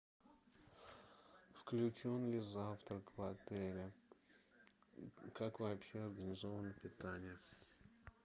включен ли завтрак в отеле как вообще организовано питание